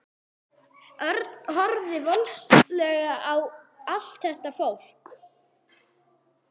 Örn horfði vonleysislega á allt þetta fólk.